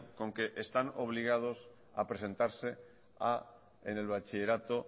con que están obligados a presentarse en el bachillerato